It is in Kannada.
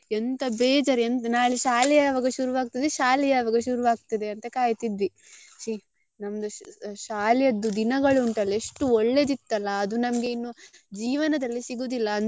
ಎಂತ ಬೇಜಾರ್ ಎಂತ ನಾಳೆ ಶಾಲೆ ಯಾವಾಗ ಶುರು ಆಗ್ತದೆ ಶಾಲೆ ಯಾವಾಗ ಶುರು ಆಗ್ತದೆ ಅಂತ ಕಾಯ್ತಿದ್ವಿ ಶೀ ನಮ್ದು ಶಾಲೆದ್ದು ದಿನಗಳು ಉಂಟಾಲ್ಲ ಎಷ್ಟು ಒಳ್ಳೇದಿತ್ತಾಲ್ಲ ಅದು ನಮ್ಗೆ ಇನ್ನು ಜೀವನದಲ್ಲಿ ಸಿಗುದಿಲ್ಲ.